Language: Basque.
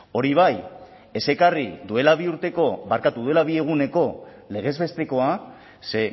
hori bai ez ekarri duela bi urteko barkatu duela bi eguneko legez bestekoa ze